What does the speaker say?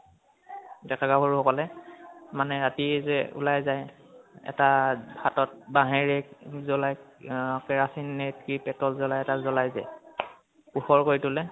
ডেকা গাভৰু সকলে মানে ৰাতি যা উলাই যায় এটা হাতত বাহেৰে ই জ্বলাই অহ কেৰাচিন নে কি petrol জ্বলাই এটা জ্বলাই যে পোহৰ কৰি তোলে